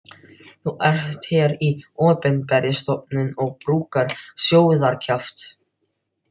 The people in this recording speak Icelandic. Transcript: Þú ert hér í opinberri stofnun og brúkar sóðakjaft.